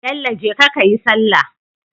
Bello jeka kayi sallah